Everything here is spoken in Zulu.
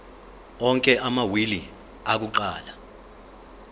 onke amawili akuqala